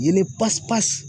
Yeelen pasipasi